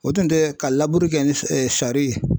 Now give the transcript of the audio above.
O tun tɛ ka laburu kɛ ni sari ye